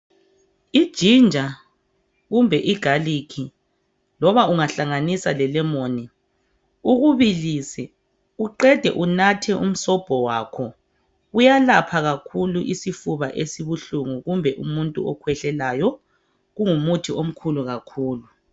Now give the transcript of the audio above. Ijinja kumbe igalikhi noma ungahlanganisa lelemoni ukubilise uqede unathe umsombo wakho kuyalapha kakhulu isifuba esibuhlengu kumbe okhwehlelayo kungumuthi omkhulu kakhulu.